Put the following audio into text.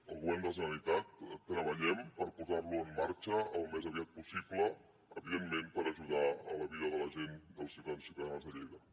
al govern de la generalitat treballem per posar lo en marxa al més aviat possible evidentment per ajudar en la vida de la gent dels ciutadans i ciutadanes de lleida